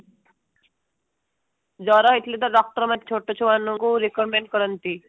ଜର ହେଇଥିଲେ ତ doctor ମାନେ ଛୋଟଛୁଆ ମାନଙ୍କୁ recommend କରନ୍ତି